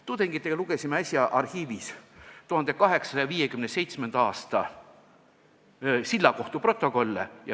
Tudengitega lugesin äsja arhiivis 1857. aasta sillakohtu protokolle.